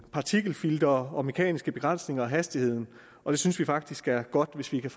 partikelfiltre og mekaniske begrænsninger af hastigheden og vi synes faktisk det er godt hvis vi kan